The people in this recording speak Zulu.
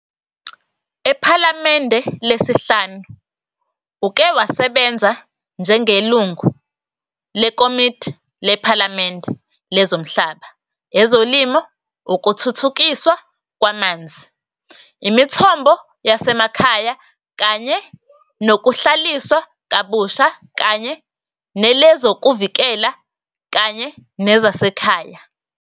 EPhalamende Lesihlanu uke wasebenza njengelungu leKomidi lePhalamende lezoMhlaba, ezoLimo, ukuThuthukiswa kwamanzi, iMithombo yaseMakhaya kanye nokuhlaliswa kabusha kanye nelezokuvikela kanye nezasekhaya.